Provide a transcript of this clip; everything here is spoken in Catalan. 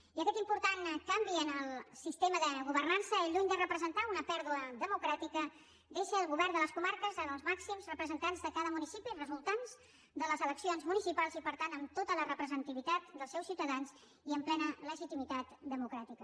i aquest important canvi en el sistema de governança lluny de representar una pèrdua democràtica deixa el govern de les comarques en els màxims representants de cada municipi resultants de les eleccions municipals i per tant amb tota la representativitat dels seus ciutadans i amb plena legitimitat democràtica